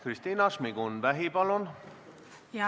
Kristina Šmigun-Vähi, palun!